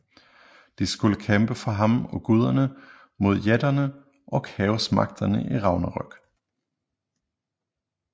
De skulle kæmpe for ham og guderne mod jætterne og kaosmagterne i Ragnarok